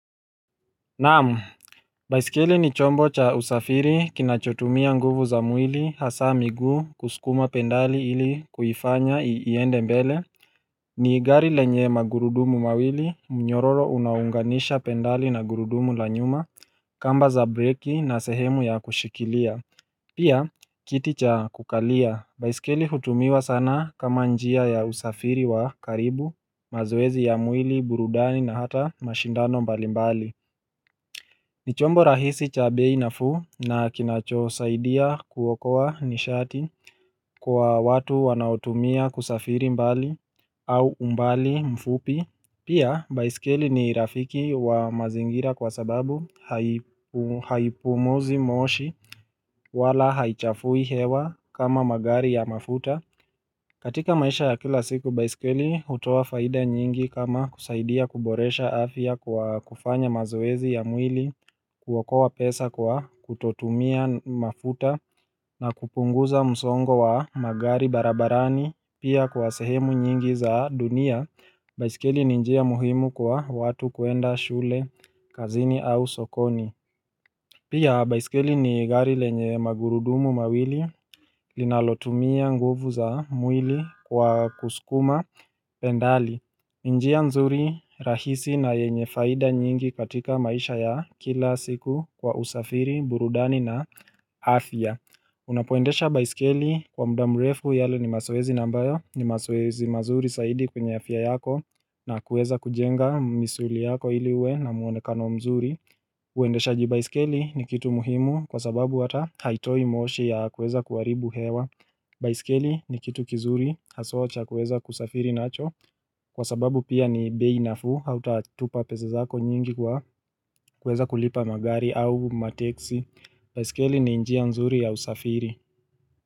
Naam baiskeli ni chombo cha usafiri kinachotumia nguvu za mwili hasa miguu kusukuma pendali ili kuifanya iende mbele ni gari lenye magurudumu mawili mnyororo unaounganisha pendali na gurudumu la nyuma kamba za breki na sehemu ya kushikilia Pia kiti cha kukalia baiskeli hutumiwa sana kama njia ya usafiri wa karibu mazoezi ya mwili burudani na hata mashindano mbalimbali ni chombo rahisi cha bei nafuu na kinachosaidia kuokoa nishati kwa watu wanaoutumia kusafiri mbali au umbali mfupi Pia baiskeli ni rafiki wa mazingira kwa sababu haipumuzi moshi wala haichafui hewa kama magari ya mafuta katika maisha ya kila siku, baiskeli hutoa faida nyingi kama kusaidia kuboresha afya kwa kufanya mazoezi ya mwili, kuokoa pesa kwa kutotumia mafuta na kupunguza msongo wa magari barabarani. Pia kwa sehemu nyingi za dunia, baiskeli ni njia muhimu kwa watu kuenda shule, kazini au sokoni. Pia baiskeli ni gari lenye magurudumu mawili, linalotumia nguvu za mwili kwa kusukuma pendali. Njia nzuri rahisi na yenye faida nyingi katika maisha ya kila siku kwa usafiri, burudani na afya. Unapoendesha baiskeli kwa muda mrefu yale ni mazoezi na ambayo, ni mazoezi mazuri zaidi kwenye afya yako na kuweza kujenga misuli yako ili uwe na mwonekano mzuri. Uwendeshaji baiskeli ni kitu muhimu kwa sababu hata haitoi moshi ya kuweza kuharibu hewa baiskeli ni kitu kizuri haswa cha kuweza kusafiri nacho Kwa sababu pia ni bei nafuu hautatupa pesa zako nyingi kwa kuweza kulipa magari au mateksi baiskeli ni njia nzuri ya usafiri.